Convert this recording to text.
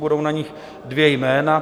Budou na nich dvě jména.